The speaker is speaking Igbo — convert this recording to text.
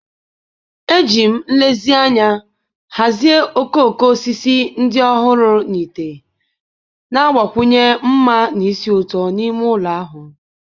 Eji m nlezianya hazie okooko osisi ndị ọhụrụ na ite, na-agbakwunye mma na ísì ụtọ n'ime ụlọ ahụ.